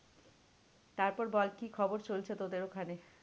তারপর বল কি খবর চলছে তোদের ওখানে?